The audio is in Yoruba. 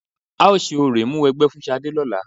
A ó ṣe orò ìmúwẹgbẹ́ fún Ṣadé lọ́la.